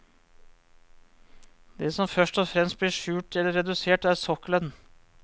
Det som først og fremst blir skjult eller redusert, er sokkelen.